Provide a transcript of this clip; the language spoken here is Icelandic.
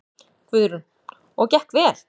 Guðrún: Og gekk vel?